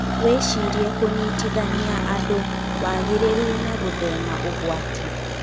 Wĩcirie kũnyitanithia andũ, wagĩrĩru and gũthema ũgwati.